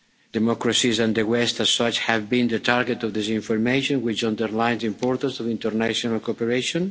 borders. Democracies and the West as such have been the target of disinformation, which underlines the importance of international cooperation.